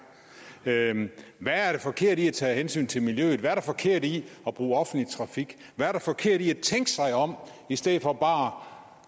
hvad er det forkerte i at tage hensyn til miljøet hvad er der forkert i at bruge offentlig trafik hvad er der forkert i at tænke sig om i stedet for bare